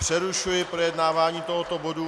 Přerušuji projednávání tohoto bodu.